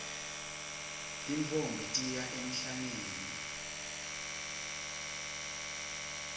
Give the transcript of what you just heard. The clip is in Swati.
tintfombi tiya emhlangeni